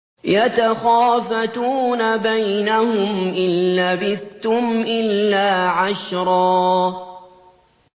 يَتَخَافَتُونَ بَيْنَهُمْ إِن لَّبِثْتُمْ إِلَّا عَشْرًا